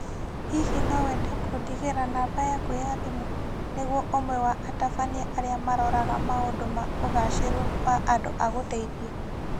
Hihi no wende kũndigĩra namba yaku ya thĩmũ nĩguo ũmwe wa atabania arĩa maroraga maũndũ ma ũgaacĩru wa andũ agũteithie?